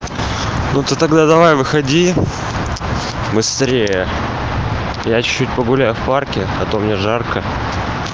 ну ты тогда давай выходи быстрее я чуть-чуть погуляю в парке а то мне жарко